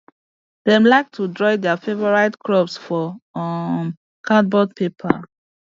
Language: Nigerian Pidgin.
dem like to draw their favourite crops for um cardboard paper